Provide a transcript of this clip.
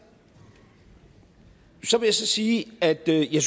så vil jeg så sige at jeg ikke